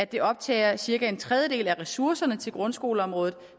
det optager cirka en tredjedel af ressourcerne til grundskoleområdet